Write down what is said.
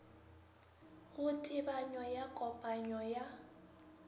go tebanyo ya kopanyo ya